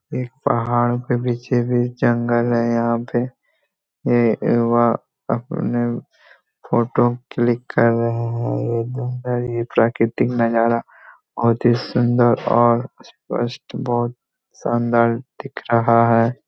एक पहाड़ के पीछे भी जंगल है यहाँ पे ये व अपने फोटो क्लिक कर रहे हैं ये प्राकृतिक नजारा बहोत ही सुन्दर और स्पष्ट बहोत शानदार दिख रहा है।